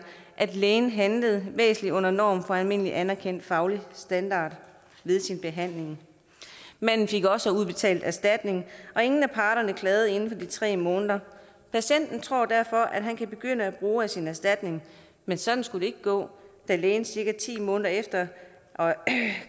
at lægen handlede væsentligt under norm for almindelig anerkendt faglig standard ved behandlingen manden fik også udbetalt erstatning og ingen af parterne klagede inden for de tre måneder patienten tror derfor at han kan begynde at bruge af sin erstatning men sådan skulle det ikke gå da lægen cirka ti måneder efter